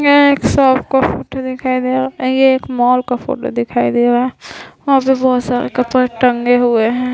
यहां एक शॉप का फोटो दिखाई दे रहा है ये एक मॉल का फोटो दिखाई दे रहा है वहाँ पे बहुत सारा कपड़ा टंगे हुए है।